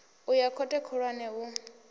u ya khothe khulwane u